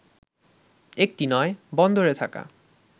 একটি নয়, বন্দরে থাকা